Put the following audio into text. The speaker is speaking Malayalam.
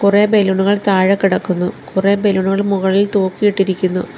കുറേ ബലൂണുകൾ താഴെ കിടക്കുന്നു കുറേ ബലൂൺ കൾ മുകളിൽ തൂക്കിയിട്ടിരിക്കുന്നു.